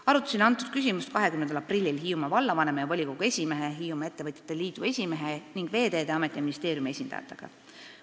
" Arutasin seda küsimust 20. aprillil Hiiumaa vallavanema ja volikogu esimehe, Hiiumaa Ettevõtjate Liidu esimehe ning Veeteede Ameti ja ministeeriumi esindajatega.